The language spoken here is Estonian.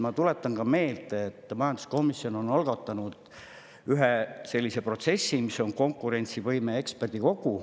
Ma tuletan aga meelde, et majanduskomisjon algatas ühe sellise protsessi, et luua konkurentsivõime eksperdikogu.